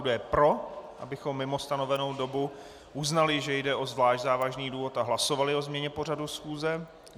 Kdo je pro, abychom mimo stanovenou dobu uznali, že jde o zvlášť závažný důvod a hlasovali o změně pořadu schůze?